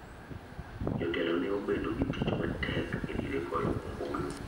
Jotelo ne obedo gi tich matek e diere goyo ombulu.